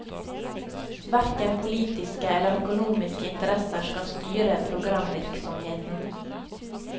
Verken politiske eller økonomiske interesser skal styre programvirksomheten.